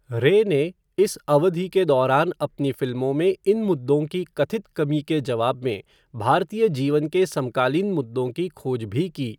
रे ने इस अवधि के दौरान अपनी फिल्मों में इन मुद्दों की कथित कमी के जवाब में भारतीय जीवन के समकालीन मुद्दों की खोज भी की।